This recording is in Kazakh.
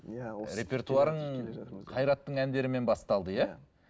репертуарың қайраттың әндерімен басталды иә